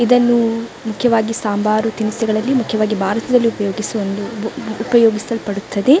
ಇದನ್ನು ಮುಖ್ಯವಾಗಿ ಸಾಂಬಾರು ತಿನಿಸುಗಳನ್ನು ಮುಖ್ಯವಾಗಿ ಭಾರತದಲ್ಲಿ ಉಪಯೋಗಿಸುವ ಒಂದು ಉಪಯೋಗಿಸಲ್ಪಡುತ್ತದೆ.